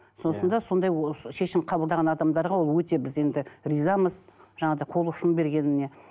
сосын да сондай шешім қабылдаған адамдарға ол өте біз енді ризамыз жаңағыдай қол ұшын бергеніне